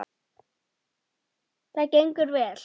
Það gengur vel.